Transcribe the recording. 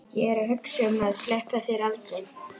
Ég er að hugsa um að sleppa þér aldrei.